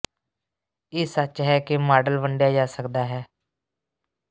ਇਹ ਸੱਚ ਹੈ ਕਿ ਮਾਡਲ ਵੰਡਿਆ ਜਾ ਸਕਦਾ ਹੈ